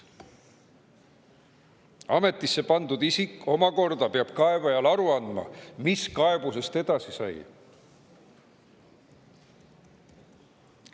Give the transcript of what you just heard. Ametisse pandud isik omakorda peab kaebajale aru andma, mis kaebusest edasi sai.